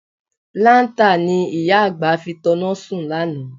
Láńtà ni ìyá àgbà fi tanná sùn lánàá.